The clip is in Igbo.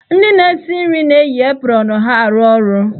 Ndị na-esi nri na-eyi aprọnụ ha arụ ọrụ.